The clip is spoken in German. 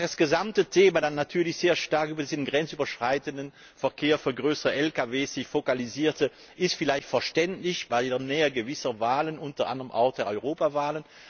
Dass sich das gesamte Thema dann natürlich sehr stark über diesen grenzüberschreitenden Verkehr für größere Lkw vokalisierte, ist vielleicht verständlich angesichts der Nähe gewisser Wahlen, unter anderem auch der Europawahl.